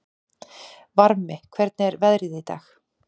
Varmi, hvernig er veðrið í dag?